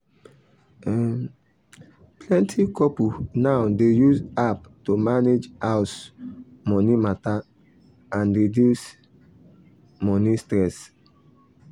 um plenty couple now dey use app to manage house money matter and reduce um money stress.